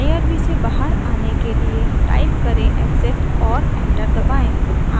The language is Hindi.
irb से बाहर आने के लिए टाइप करें exit और एंटर दबाएँ